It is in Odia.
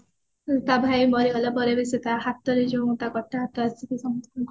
ହଁ ତା ଭାଇ ମରିଗଲା ପରେ ବି ସେ ତା ହାତର ଯୋଉ ତା କଟା ହାତ ଆସିକି ସମସ୍ତଙ୍କୁ